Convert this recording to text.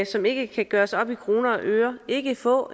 som ikke kan gøres op i kroner og øre ikke få